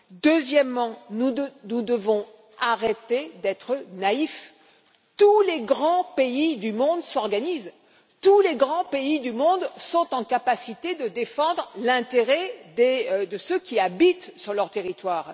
Deuxièmement, nous devons arrêter d'être naïfs tous les grands pays du monde s'organisent, tous les grands pays du monde sont en capacité de défendre l'intérêt de ceux qui habitent sur leur territoire.